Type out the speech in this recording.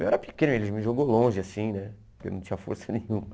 Eu era pequeno, ele me jogou longe, assim, né, porque eu não tinha força nenhuma.